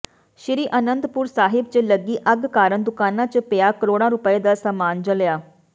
ਸ਼੍ਰੀ ਅਨੰਦਪੁਰ ਸਾਹਿਬ ਚ ਲੱਗੀ ਅੱਗ ਕਾਰਣ ਦੁਕਾਨਾਂ ਚ ਪਿਆ ਕਰੋੜਾਂ ਰੁਪਏ ਦਾ ਸਾਮਾਨ ਜਲਿਆ